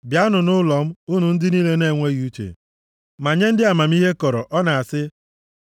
“Bịanụ nʼụlọ m, unu ndị niile na-enweghị uche” Ma nye ndị amamihe kọrọ, ọ na-asị,